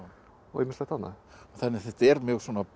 og ýmislegt annað þannig að þetta er mjög